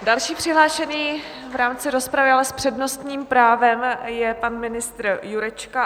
Další přihlášený v rámci rozpravy, ale s přednostním právem je pan ministr Jurečka.